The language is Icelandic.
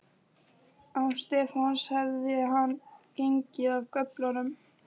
Án Stefáns hefði hann gengið af göflunum.